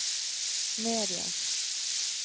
medias